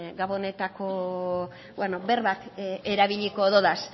gabonetako berbak erabiliko dodaz